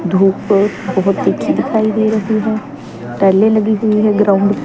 धूप बहोत तिखी दिखाई दे रहीं हैं टाइले लगी हुई हैं ग्राउंड --